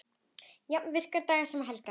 Jafnt virka daga sem helga.